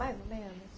Mais ou menos.